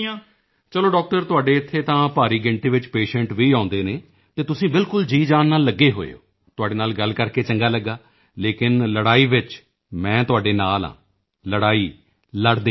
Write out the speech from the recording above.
ਚਲੋ ਡਾਕਟਰ ਤੁਹਾਡੇ ਇੱਥੇ ਤਾਂ ਭਾਰੀ ਗਿਣਤੀ ਵਿੱਚ ਪੇਸ਼ੈਂਟ ਵੀ ਆਉਂਦੇ ਹਨ ਤੇ ਤੁਸੀਂ ਬਿਲਕੁਲ ਜੀਅਜਾਨ ਨਾਲ ਲੱਗੇ ਹੋਏ ਹੋ ਤੁਹਾਡੇ ਨਾਲ ਗੱਲ ਕਰਕੇ ਚੰਗਾ ਲੱਗਿਆ ਲੇਕਿਨ ਲੜਾਈ ਵਿੱਚ ਮੈਂ ਤੁਹਾਡੇ ਨਾਲ ਹਾਂ ਲੜਾਈ ਲੜਦੇ ਰਹੋ